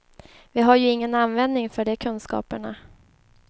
Vi har ju ingen användning för de kunskaperna.